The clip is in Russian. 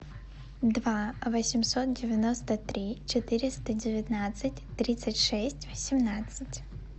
два восемьсот девяносто три четыреста девятнадцать тридцать шесть восемнадцать